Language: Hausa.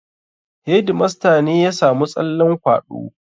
Hedimasta ne ya samu tsallen kwaɗo